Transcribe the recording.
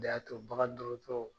de y'a to bagan dɔrɔtɔrɔ